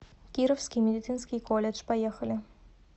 кировский медицинский колледж поехали